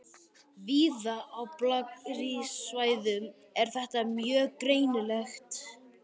Víða á blágrýtissvæðunum er þetta mjög greinilegt.